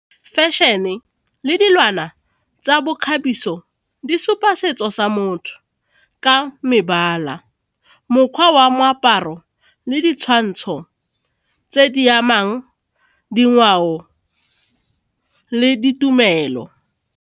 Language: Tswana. Fashion le dilwana tsa bokgabiso di supa setso sa motho ka mebala mokgwa wa moaparo le ditshwantsho tse di amang dingwao le ditumelo.